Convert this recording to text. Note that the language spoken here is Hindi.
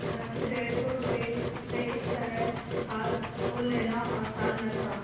परन्तु डेढ़ सौ रुपये से इस तरह हाथ धो लेना आसान न था